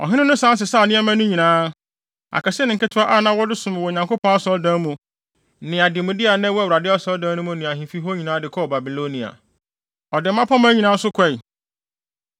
Ɔhene no san sesaw nneɛma no nyinaa, akɛse ne nketewa a na wɔde som wɔ Onyankopɔn Asɔredan mu, ne ademude a na ɛwɔ Awurade Asɔredan no mu ne ahemfi hɔ nyinaa de kɔɔ Babilonia. Ɔde mmapɔmma nyinaa nso kɔe.